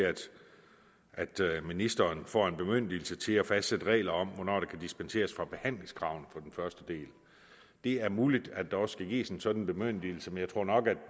at til at ministeren får en bemyndigelse til at fastsætte regler om hvornår der kan dispenseres fra behandlingskravene fra den første del det er muligt at der også skal gives en sådan bemyndigelse men jeg tror nok at